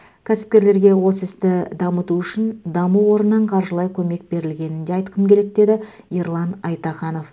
кәсіпкерлерге осы істі дамыту үшін даму қорынан қаржылай көмек берілгенін де айтқым келеді деді ерлан айтаханов